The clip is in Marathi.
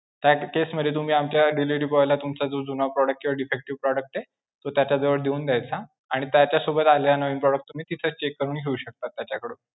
ह्या case मध्ये तुम्ही आमच्या delivery boy ला तुमचा जो जुना product किंवा defective product आहे, तो त्याच्याजवळ देऊन द्यायचा, आणि त्याच्यासोबत आलेला नवीन product तुम्ही तिथेच check करून घेऊ शकता त्याच्याकडून.